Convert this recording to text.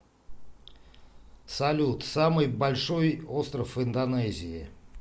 салют самый большой остров индонезии